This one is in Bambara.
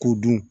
K'u dun